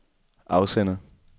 afsender